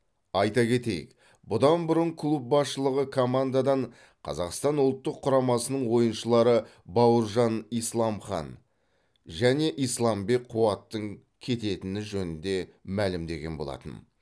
айта кетейік бұдан бұрын клуб басшылығы командадан қазақстан ұлттық құрамасының ойыншылары бауыржан исламхан және исламбек қуаттың кететіні жөнінде мәлімдеген болатын